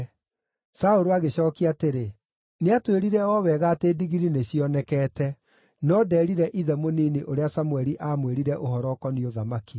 Saũlũ agĩcookia atĩrĩ, “Nĩatwĩrire o wega atĩ ndigiri nĩcionekete.” No ndeerire ithe mũnini ũrĩa Samũeli aamwĩrire ũhoro ũkoniĩ ũthamaki.